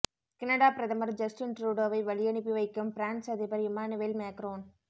Canada பிரதமர் Justin ட்ரூடோவை வழியனுப்பி வைக்கும் பிரான்ஸ் அதிபர் இம்மானுவேல் மேக்ரோன்